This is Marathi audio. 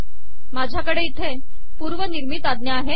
माझयाकडे पूवरिनिमरत आजा आहे